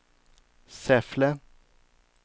Säffle